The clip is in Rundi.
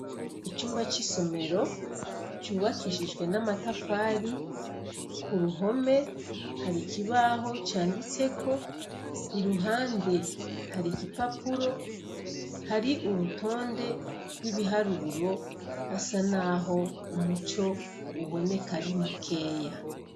icumba c'isomero cubakishijwe n'amatafari ku ruhome hari ikibaho canditse ko iruhande hari igipapuro hari urutonde rw'ibiharuro hasa naho umuco uboneka ari mu keya